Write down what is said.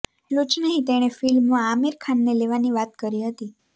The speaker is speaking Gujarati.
એટલું જ નહી તેણે ફિલ્મમાં આમિર ખાનને લેવાની વાત કરી હતી